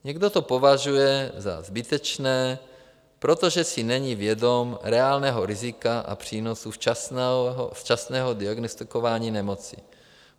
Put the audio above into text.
Někdo to považuje za zbytečné, protože si není vědom reálného rizika a přínosu včasného diagnostikování nemoci.